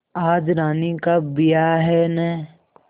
आज रानी का ब्याह है न